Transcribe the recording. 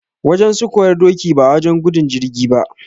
Wajen sukuwar doki ba wajen gudun jirgi ba.